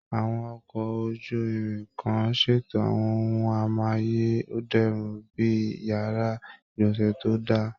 Àwọn ọkọ̀ ojú-irin kan ṣètò àwọn ohun amáyé dẹrùn bí i yàrá ìgbọ̀nsẹ̀ tó dá a